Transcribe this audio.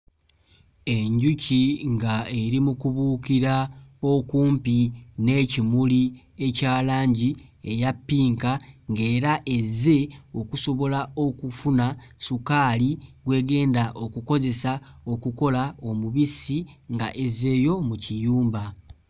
Enjuki nga eri mu kubuukira okumpi n'ekimuli ekya langi eya ppinka ng'era ezze okusobola okufuna ssukaali gw'egenda okukozesa okukola omubisi nga ezzeeyo mu kiyumba.